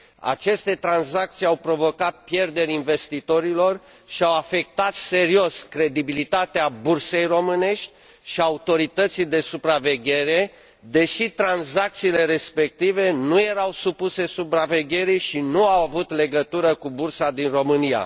Aceste tranzacții au provocat pierderi investitorilor și au afectat serios credibilitatea bursei românești și autorității de supraveghere, deși tranzacțiile respective nu erau supuse supravegherii și nu au avut legătură cu bursa din România.